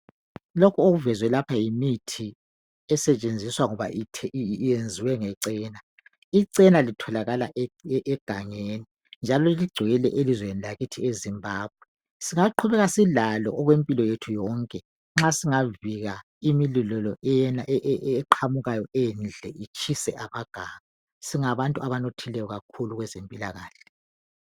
Lokhu okuvezwe lapha yimithi esetshenziswa ngoba yenziwe ngecena. Icena litholakala egangeni njalo ligcwele elizweni lakithi eZimbabwe Singaqhubeka silalo okwempilo yethu yonke nxa singavinga imililo eqhamukayo endle itshise amaganga singabantu abanothileyo kakhulu.